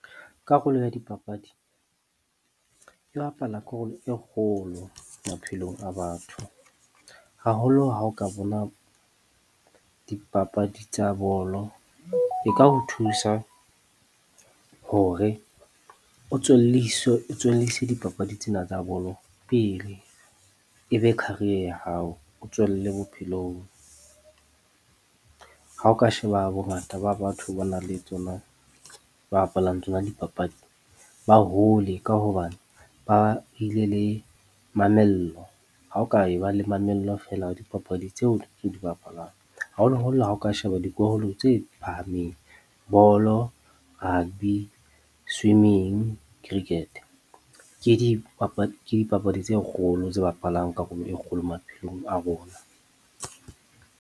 Karolo ya dipapadi, e bapala karolo e kgolo maphelong a batho. Haholo ha o ka bona dipapadi tsa bolo, e ka ho thusa hore o tswelliswe, o tswellise dipapadi tsena tsa bolo pele e be career ya hao o tswelle bophelong. Ha o ka sheba bongata ba batho ba na le tsona ba bapalang tsona dipapadi ba hole ka hobane ba ile le mamello ha o ka e ba le mamello feela wa dipapadi tseo o di bapalwang, haholoholo ha o ka sheba dikolo tse e phahameng bolo, rugby, swimming, cricket ke , dipapadi tse kgolo tse bapalang karolo e kgolo maphelong a rona.